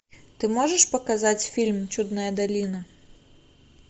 ты можешь показать фильм чудная долина